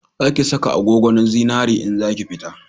Za ki saka agogo na zinari in zaki fita